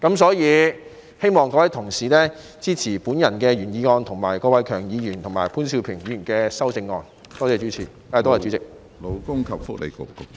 所以，我希望各位同事支持我的原議案，以及郭偉强議員及潘兆平議員的修正案，多謝主席。